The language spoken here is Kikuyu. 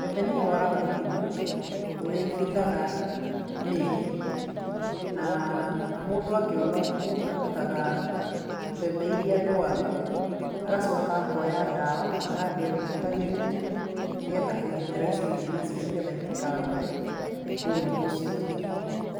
Mbembe nĩ irwaraga mũrimũ ũrĩa ibuthaga mĩri, na mũndũ angĩona ũguo, arutaga mbembe iria ndwaru, agacoka akoya ndawa agathiĩ agitagĩrĩria, nĩ getha kũgitĩra icio ingĩ nĩ getha itĩkarware mũrimũ ũcio.